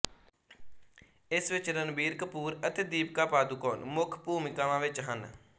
ਇਸ ਵਿੱਚ ਰਣਬੀਰ ਕਪੂਰ ਅਤੇ ਦੀਪਿਕਾ ਪਾਦੂਕੋਣ ਮੁੱਖ ਭੂਮਿਕਾਵਾਂ ਵਿੱਚ ਹਨ